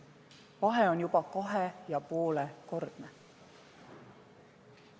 Vahe on kahe ja poole kordne!